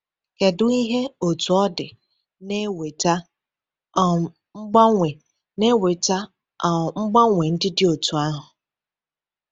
Kedu ihe, otu ọ dị, na-eweta um mgbanwe na-eweta um mgbanwe ndị dị otú ahụ?